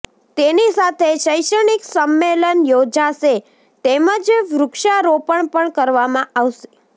તેની સાથે શૈક્ષણિક સંમેલન યોજાશે તેમજ વૃક્ષારોપણ પણ કરવામાં આવશે